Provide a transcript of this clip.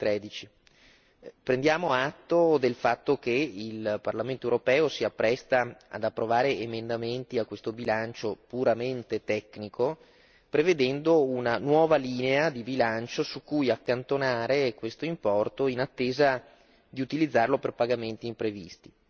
2013. Prendiamo atto del fatto che il Parlamento europeo si appresta ad approvare emendamenti a questo bilancio puramente tecnico, prevedendo una nuova linea di bilancio su cui accantonare questo importo in attesa di utilizzarlo per pagamenti imprevisti.